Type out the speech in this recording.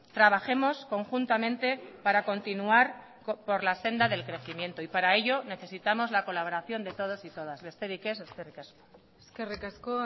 trabajemos conjuntamente para continuar por la senda del crecimiento y para ello necesitamos la colaboración de todos y todas besterik ez eskerrik asko eskerrik asko